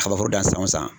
Kabaforo dan san o san san